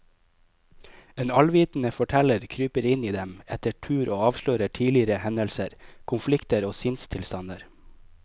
En allvitende forteller kryper inn i dem etter tur og avslører tidligere hendelser, konflikter og sinnstilstander.